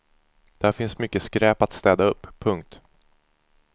Där finns mycket skräp att städa upp. punkt